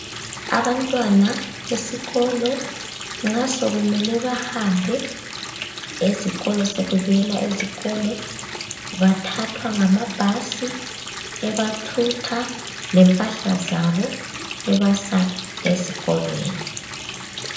Abantwana esikolo nxa sokumele bahambe esikolo sebebuyela esikolo bathathwa ngamabhasi ebathutha lempahla zabo ebasa ezikolweni.